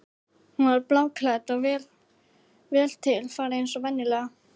Hann var bláklæddur og vel til fara eins og venjulega.